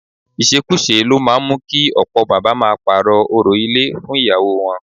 Ìṣekúṣe ló máa ń mú kí ọ̀pọ̀ bàbá máa parọ́ orò ilé fún ìyàwó wọn